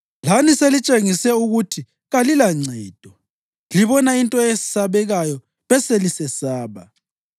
Lani selitshengise ukuthi kalilancedo; libona into eyesabekayo beselisesaba.